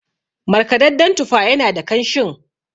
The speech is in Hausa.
markadadden tufa yana da kanshin